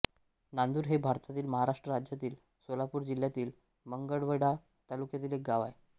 नांदुर हे भारतातील महाराष्ट्र राज्यातील सोलापूर जिल्ह्यातील मंगळवेढा तालुक्यातील एक गाव आहे